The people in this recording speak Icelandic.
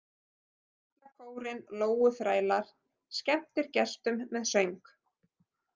Karlakórinn Lóuþrælar skemmtir gestum með söng